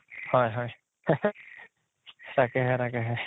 হয় হয় তাকেহে তাকেহে